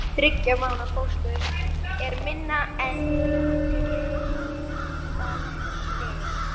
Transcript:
Þriggja mánaða fóstur er minna en greipaldin.